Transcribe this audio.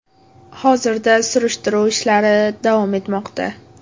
Hozirda surishtiruv ishlari davom etmoqda.